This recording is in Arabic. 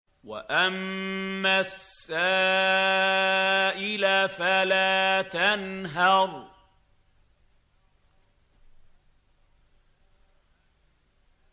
وَأَمَّا السَّائِلَ فَلَا تَنْهَرْ